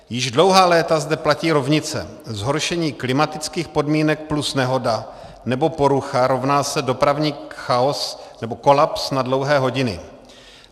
Již dlouhá léta zde platí rovnice: zhoršení klimatických podmínek plus nehoda nebo porucha rovná se dopravní chaos nebo kolaps na dlouhé hodiny.